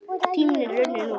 Tíminn er runninn út.